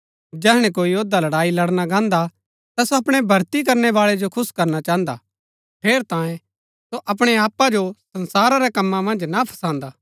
जैहणै कोई योद्धा लड़ाई लड़ना गाहन्‍दा ता सो अपणै भर्ती करनै बाळै जो खुश करना चाहन्दा हा ठेरैतांये सो अपणै आपा जो संसारा रै कमां मन्ज ना फसान्दा